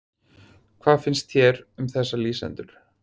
Hvað finnst þér um þessa lýsendur?